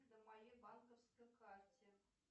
на моей банковской карте